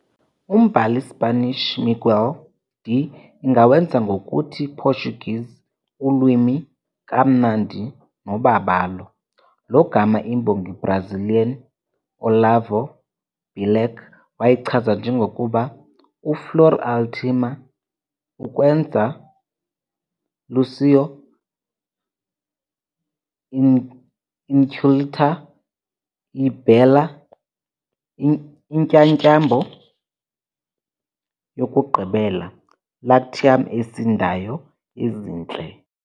Umbhali Spanish Miguel de ingawenzi ngokuthi Portuguese "ulwimi kamnandi nobabalo", lo gama i-imbongi Brazilian Olavo Bilac wayichaza njengokuba "uFlor última ukwenza Lácio", "inculta" e "Bela", intyatyambo yokugqibela Latium, esindayo, ezintle.